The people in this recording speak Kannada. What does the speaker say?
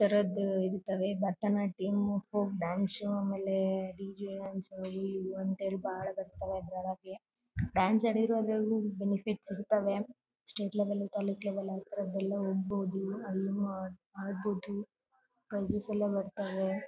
ಭಾರತನಾಟ್ಯಮ್ ಮತ್ತು ಫೋಕ್ ಡಾನ್ಸ್ ಆಮೇಲೆ ಡಿ ಜೆ ಡಾನ್ಸ್ ಅವು ಇವು ಅಂತೇಳಿ ಬಹಳ ಬರ್ತವೆ ಅದ್ರೊಳಗೆ ಡಾನ್ಸ್ ಆಡಿದ್ರು ಅದ್ರಲ್ಲೂ ಬೆನಿಫಿಟ್ ಇರ್ತಾವೆ ಸ್ಟೇಟ್ ಲೆವೆಲ್ ತಾಲೂಕ್ ಲೆವೆಲ್ ಅತರದ್ ಎಲ್ಲ ಹೋಗ್ಬಹುದು ಅಲ್ಲಿ ಮಾಡಬಹುದು ಪ್ರೈಸಸ್‌ ಎಲ್ಲ ಬರ್ತಾರೆ .